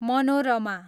Manorama